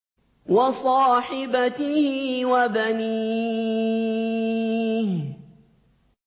وَصَاحِبَتِهِ وَبَنِيهِ